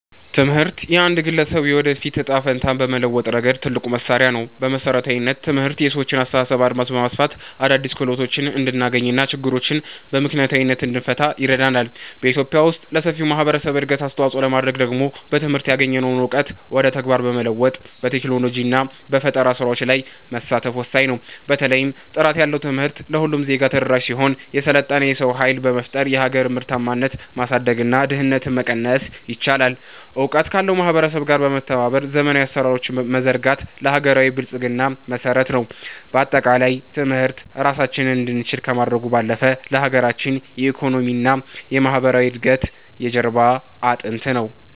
ትምህርት የአንድን ግለሰብ የወደፊት ዕጣ ፈንታ በመለወጥ ረገድ ትልቁ መሣሪያ ነው። በመሠረታዊነት፣ ትምህርት የሰዎችን የአስተሳሰብ አድማስ በማስፋት አዳዲስ ክህሎቶችን እንድናገኝና ችግሮችን በምክንያታዊነት እንድንፈታ ይረዳናል። በኢትዮጵያ ውስጥ ለሰፊው ማኅበረሰብ እድገት አስተዋፅኦ ለማድረግ ደግሞ በትምህርት ያገኘነውን እውቀት ወደ ተግባር በመለወጥ፣ በቴክኖሎጂና በፈጠራ ሥራዎች ላይ መሳተፍ ወሳኝ ነው። በተለይም ጥራት ያለው ትምህርት ለሁሉም ዜጋ ተደራሽ ሲሆን፣ የሰለጠነ የሰው ኃይል በመፍጠር የሀገርን ምርታማነት ማሳደግና ድህነትን መቀነስ ይቻላል። እውቀት ካለው ማኅበረሰብ ጋር በመተባበር ዘመናዊ አሠራሮችን መዘርጋት ለሀገራዊ ብልጽግና መሠረት ነው። በአጠቃላይ፣ ትምህርት ራሳችንን እንድንችል ከማድረጉም ባለፈ፣ ለሀገራችን የኢኮኖሚና የማኅበራዊ እድገት የጀርባ አጥንት ነው።